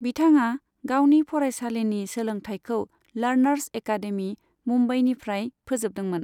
बिथाङा गावनि फरायसालिनि सोलोंथायखौ लार्नार्स एकादेमि, मुम्बाईनिफ्राय फोजोबदोंमोन।